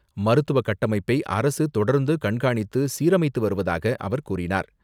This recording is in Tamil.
மருத்துவ கட்டமைப்பை அரசு தொடர்ந்து கண்காணித்து, சீரமைத்து வருவதாக அவர் கூறினார்.